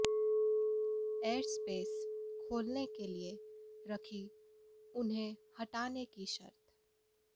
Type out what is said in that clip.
air space खोलने के लिए रखी उन्हें हटाने की शर्त